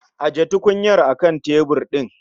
Ajiye tukunyar a kan tebur ɗin